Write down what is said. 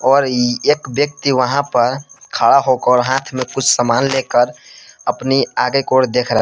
और एक व्यक्ति वहां पर खड़ा होकर हाथ में कुछ सामान लेकर अपनी आगे की ओर देख रहा हैं।